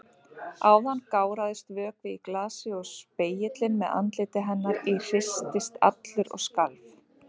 Áðan gáraðist vökvi í glasi og spegillinn með andliti hennar í hristist allur og skalf.